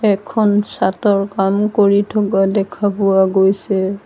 এখন চাঁটৰ কাম কৰি থকা দেখা পোৱা গৈছে।